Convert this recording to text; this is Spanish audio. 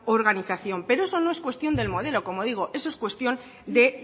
organización pero eso no es cuestión del modelo como digo eso es cuestión de